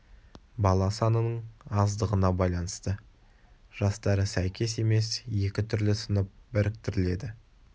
бала санының аздығына байланысты жастары сәйкес емес екі түрлі сынып біріктіріледі